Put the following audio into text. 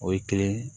O ye kelen